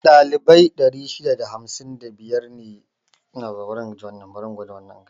Ɗalibai 655 su aka yaye a bikin.